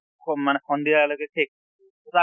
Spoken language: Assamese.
কʼ মানে সন্ধিয়া লৈকে শেষ তʼ